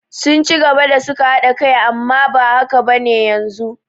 Sun ci gaba da suka haɗa kai amma ba haka bane yanzu